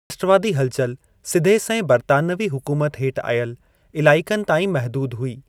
राष्ट्रवादी हलचल सिधे संए बरितानवी हुकुमत हेठि आयल इलाइकनि ताईं महदूद हुई।